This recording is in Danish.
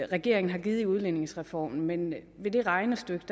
regeringen har givet i udligningsreformen men i det regnestykke